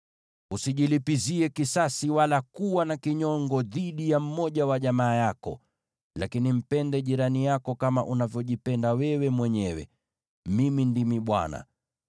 “ ‘Usijilipizie kisasi wala kuwa na kinyongo dhidi ya mmoja wa jamaa yako, lakini mpende jirani yako kama unavyojipenda wewe mwenyewe. Mimi ndimi Bwana .